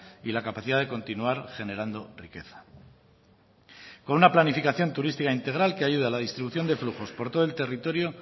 y la capacidad de continuar generando riqueza con una planificación turística integral que ayude a la distribución de flujos por todo el territorio